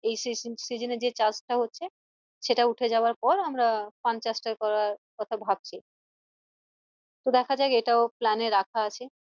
এই season এ যে চাষ টা হচ্ছে সেটা উঠে যাওয়ার পর আমরা পান চাষ টা করার কথা ভাবছি তো দেখা যাক এটাও plan এ রাখা আছে